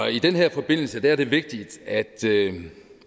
i den her forbindelse er det vigtigt at